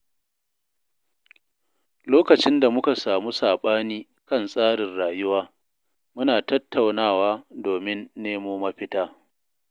Lokacin da muka samu saɓani kan tsarin rayuwa, muna tattaunawa domin nemo mafita.